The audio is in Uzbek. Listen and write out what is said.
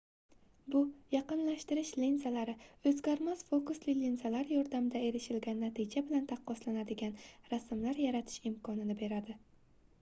bu yaqinlashtirish linzalari oʻzgarmas fokusli linzalar yordamida erishilgan natija bilan taqqoslanadigan rasmlar yaratish imkonini beradi